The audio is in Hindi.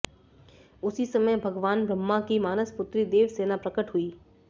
उसी समय भगवान ब्रह्मा की मानस पुत्री देवसेना प्रकट हुईं